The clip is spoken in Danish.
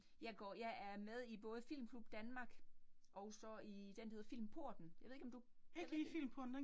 Jeg går jeg er med i både Filmklub Danmark, og så i den, der hedder Filmporten, jeg ved ikke, om du kender den?